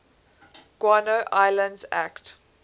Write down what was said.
guano islands act